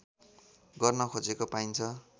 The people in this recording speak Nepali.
गर्न खोजेको पाइन्छ